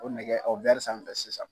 O nɛgɛ o be sanfɛ sisan.